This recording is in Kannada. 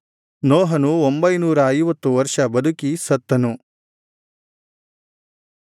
ನೋಹನು ಒಂಭೈನೂರ ಐವತ್ತು ವರ್ಷ ಬದುಕಿ ಸತ್ತನು